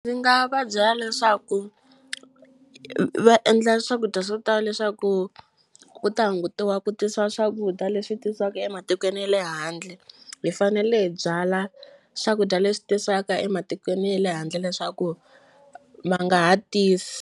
Ndzi nga va byela leswaku va endla swakudya swo tala leswaku ku ta hungutiwa ku tisiwa swakudya leswi tisiwaka ematikweni ya le handle hi fanele hi byala swakudya leswi tisiwaka ematikweni ya le handle leswaku va nga ha tisi.